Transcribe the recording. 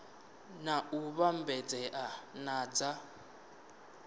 na u vhambedzea na dza